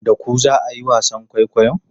Da ku za a yi wasan kwaikwayon?